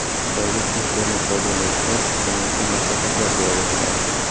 Xitoylik internet-foydalanuvchilar hukumatga maslahatlar bera boshladi.